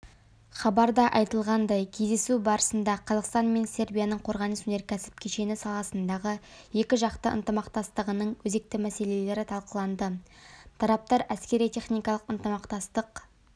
хабарда айтылғандай кездесу барысында қазақстан мен сербияның қорғаныс-өнеркәсіп кешені саласындағы екіжақты ынтымақтастығының өзекті мәселелері талқыланды тараптар әскери-техникалық ынтымақтастық